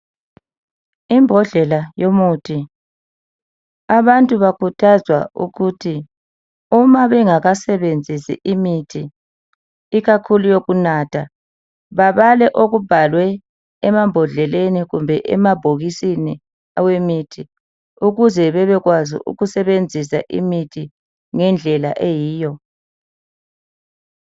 imbodlela yomuthi ,abantu bakhuthazwa ukuthi uma bengakasebenzisi imithi ,ikakhulu eyokunatha babale okubhalwe emambodleleni kumbe emabhokisini awemithi ukuze babe kwazi ukusebenzisa imithi ngendlela eyiyo